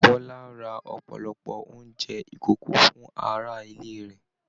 Bọla rà ọpọlọpọ oúnjẹ ikòkò fún ará ilé rẹ.